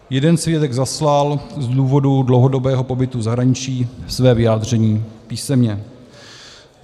Jeden svědek zaslal z důvodu dlouhodobého pobytu v zahraničí své vyjádření písemně.